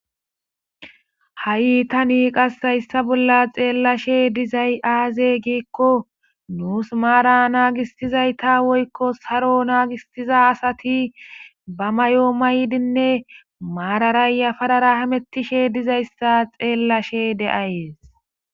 Ha'i tan hayisa bollan xelashe dizayis aze giiko nus mara nagisdaysa woyiko sarowa nagisdaysa asati ba mayo mayidinee mara yaparetidi hamutishe dizayisa xelashe de'ays